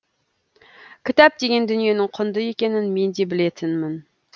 кітап деген дүниенің құнды екенін мен де білетінмін